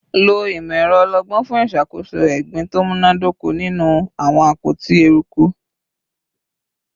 Lo imọ-ẹrọ ọlọgbọn fun iṣakoso egbin to munadoko ninu awọn apoti eruku